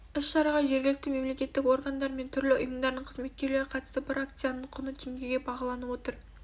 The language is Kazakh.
іс-шараға жергілікті мемлекеттік органдар мен түрлі ұйымдардың қызметкерлері қатысты бір акцияның құны теңгеге бағаланып отыр